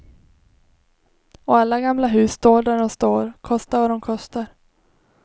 Och alla gamla hus står där de står, kostar vad de kostar.